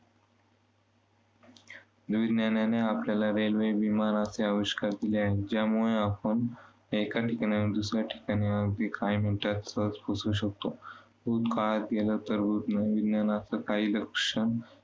विज्ञानाने आपल्याला railway विमानाचे अविष्कार दिले आहेत. ज्यामुळे आपण एका ठिकाणाहून दुसऱ्या ठिकाणी अवघ्या काही मिनिटांत सहज पोहचू शकतो. भूतकाळात गेले तर विज्ञानाचं काही लक्ष्य